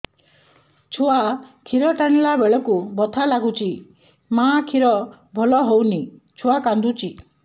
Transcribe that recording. ଛୁଆ ଖିର ଟାଣିଲା ବେଳକୁ ବଥା ଲାଗୁଚି ମା ଖିର ଭଲ ହଉନି ଛୁଆ କାନ୍ଦୁଚି